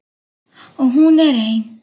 Og hún er ein.